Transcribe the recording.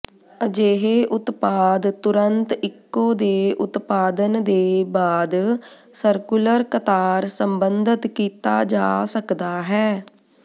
ਅਜਿਹੇ ਉਤਪਾਦ ਤੁਰੰਤ ਇਕੋ ਦੇ ਉਤਪਾਦਨ ਦੇ ਬਾਅਦ ਸਰਕੂਲਰ ਕਤਾਰ ਸਬੰਧਤ ਕੀਤਾ ਜਾ ਸਕਦਾ ਹੈ